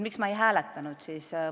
Miks ma ei hääletanud?